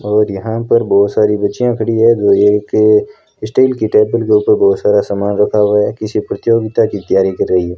और यहां पर बहोत सारी बच्चियों खड़ी हैं जो एक स्टील की टेबल के ऊपर बहुत सारा सामान रखा हुआ है किसी प्रतियोगिता की तैयारी कर रही है।